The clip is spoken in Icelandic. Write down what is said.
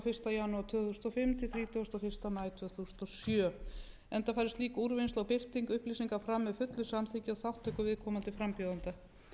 janúar tvö þúsund og fimm til þrítugasta og fyrsta maí tvö þúsund og sjö enda fari slík úrvinnsla og birting upplýsinga fram með fullu samþykki og þátttöku viðkomandi frambjóðenda